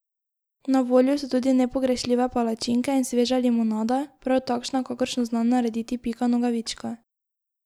Na voljo so tudi nepogrešljive palačinke in sveža limonada, prav takšna, kakršno zna narediti Pika Nogavička.